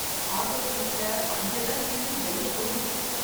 Auto சீட்ல பஞ்செல்லாம் கிழிஞ்சு வெளியே தொங்குது.